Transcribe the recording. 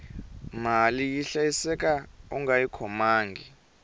mali yi hlayiseka ungayi khomangi